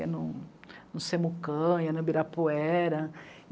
Ia no Semucan, ia no Ibirapuera.